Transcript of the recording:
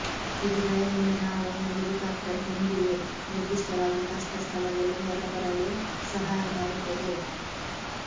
ಇದು ಭಯದಿಂದ ನಾವು ಒಂದು ಹೆಲಿಕಾಪ್ಟರ್ ಹೊಂದಿವೆ ನಿರ್ದಿಷ್ಟವಾಗಿ ಕಷ್ಟ ಸ್ಥಳದಲ್ಲಿ ಹೊರಬರಲು ಸಹಾಯ ಮಾಡುತ್ತದೆ